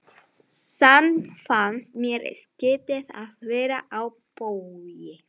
Samt fannst mér skrýtið að vera á Vogi.